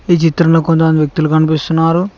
ఈ చిత్రంలో కొంత మంది వ్యక్తులు కనిపిస్తున్నారు.